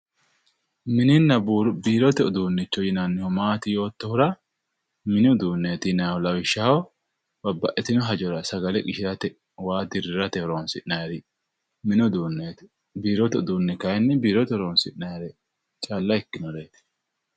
mininna biirote uduunnichi maati yoottohuhura mini uduunneeti yinannihu lawishshaho babbaxitino hajora sagale qishirate waa dirrirate horonsi'nanniri mini uduunneeti biirote uduunni kayiinni biirote calla horonsi'nannire ikkinoreeti.